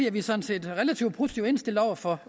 er vi sådan set relativt positivt indstillet over for